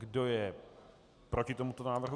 Kdo je proti tomuto návrhu?